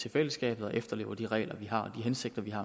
til fællesskabet og efterlever de regler vi har og hensigterne